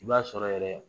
I b'a sɔrɔ yɛrɛ